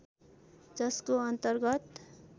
जसको अन्तर्गत